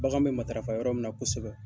Bagan bɛ matarafa yɔrɔ min na kosɛbɛ